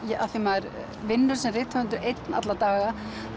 af því maður vinnur sem rithöfundur einn alla daga